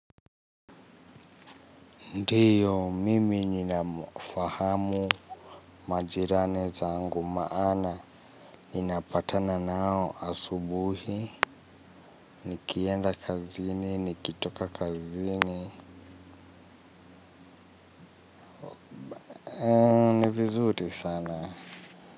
Ndiyo, mimi ninafahamu majirani zangu maana, ninapatana nao asubuhi, nikienda kazini, nikitoka kazini, nivizuri sana.